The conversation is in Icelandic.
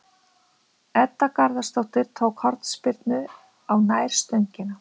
Edda Garðarsdóttir tók hornspyrnu á nærstöngina.